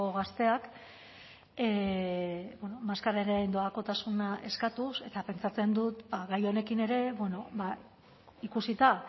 gazteak maskararen doakotasuna eskatuz eta pentsatzen dut gai honekin ere ikusita